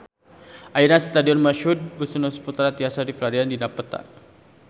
Ayeuna Stadion Mashud Wisnusaputra tiasa dipilarian dina peta